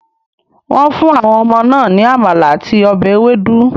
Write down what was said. Wọ́n fún àwọn ọmọ náà ní amala àti ọbẹ̀ ewedu.